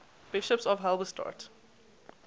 bishops of halberstadt